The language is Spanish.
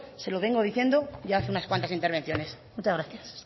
se lo vengo diciendo ya hace unas cuantas intervenciones muchas gracias